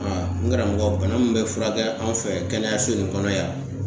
Aa n karamɔgɔ bana min be furakɛ an fɛ kɛnɛyaso in kɔnɔ yan